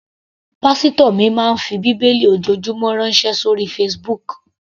Pásítò mi máa ń fi bíbélì ojoojúmọ́ ránṣẹ́ sóri Facebook.